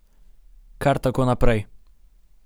Kar tako naprej.